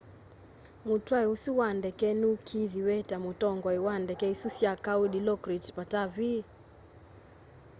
mutwai usu wa ndeke nuikiithiw'e ta mutongoi wa ndeke isu sya kau dilokrit pattavee